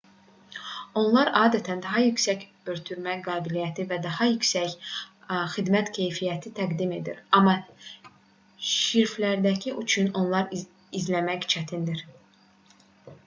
onlar adətən daha yüksək ötürmə qabiliyyəti və daha yüksək xidmət keyfiyyəti təqdim edir amma şifrləndikləri üçün onları izləmək çətindir